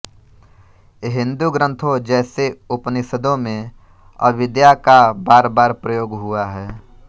हिन्दू ग्रन्थों जैसे उपनिषदों में अविद्या का बारबार प्रयोग हुआ है